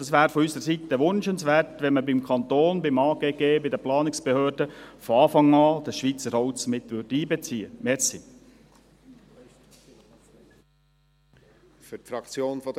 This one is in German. Von unserer Seite her wäre es wünschenswert, wenn beim Kanton, beim AGG, der Planungsbehörde, von Anfang an Schweizer Holz miteinbezogen würde.